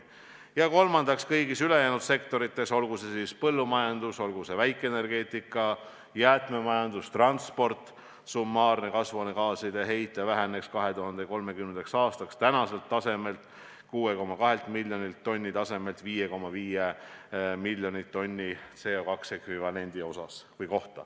Ja kolmandaks tuleb tagada, et kõigis ülejäänud sektorites – olgu see põllumajandus, väikeenergeetika, jäätmemajandus, transport – väheneks summaarne kasvuhoonegaaside heide 2030. aastaks praeguselt 6,2 miljonilt tonnilt 5,5 miljonile tonnile CO2 ekvivalendile.